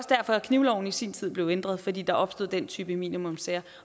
derfor at knivloven i sin tid blev ændret fordi der opstod den type minimumssager